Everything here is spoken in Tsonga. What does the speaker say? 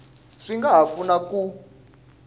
swi nga ha pfuna ku